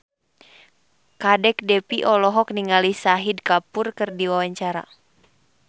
Kadek Devi olohok ningali Shahid Kapoor keur diwawancara